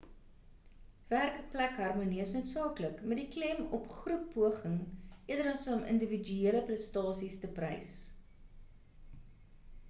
werkplek harmonie is noodsaaklik met die klem op groeppoging eerder as om individuele prestasies te prys